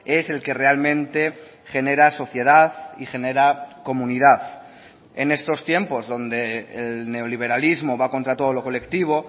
es el que realmente genera sociedad y genera comunidad en estos tiempos donde el neoliberalismo va contra todo lo colectivo